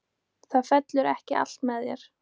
Það fellur ekki allt með þér.